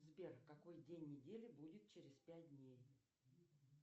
сбер какой день недели будет через пять дней